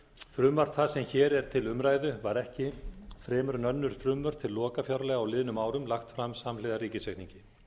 frumvarp það sem hér er til umræðu var ekki fremur en önnur frumvörp til lokafjárlaga á liðnum árum lagt fram samhliða ríkisreikningi